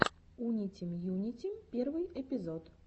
унитим юнитим первый эпизод